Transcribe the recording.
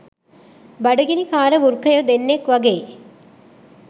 බඩගිනිකාර වෘකයෝ දෙන්නෙක් වගෙයි